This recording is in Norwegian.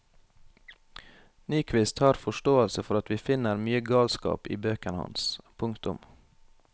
Nyquist har forståelse for at vi finner mye galskap i bøkene hans. punktum